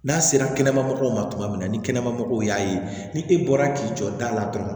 N'a sera kɛnɛma mɔgɔw ma tuma min na ni kɛnɛmamɔgɔw y'a ye ni e bɔra k'i jɔ da la dɔrɔn